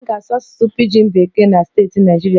A ga-asụ Asụsụ Pijin Bekee na steeti Naịjirịa niile